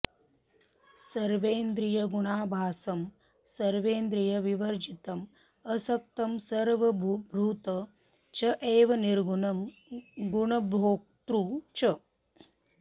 सर्वेन्द्रियगुणाभासं सर्वेन्द्रियविवर्जितम् असक्तं सर्वभृत् च एव निर्गुणं गुणभोक्तृ च